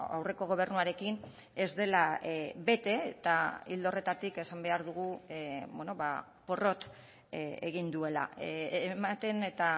aurreko gobernuarekin ez dela bete eta ildo horretatik esan behar dugu porrot egin duela ematen eta